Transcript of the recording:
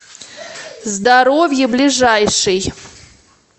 здоровье ближайший